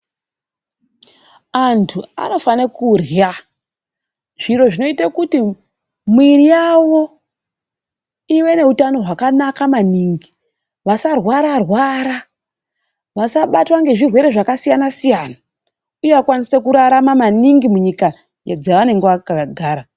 Antu anofane kurya zviro zvinoite kuti muiri yawo ive neutano hwakanaka maningi. Vasarwara rwara. Vasabatwe ngezvirwere zvakasiyana siyana, Uye vakwanise kurarama maningi munyika dzavanenge vakagara.